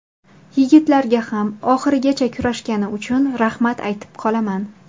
Yigitlarga ham oxirigacha kurashgani uchun rahmat aytib qolaman.